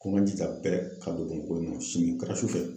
Ko n ka jija bɛɛ ka don sini o kɛra sufɛ.